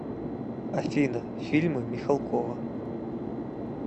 афина фильмы михалкова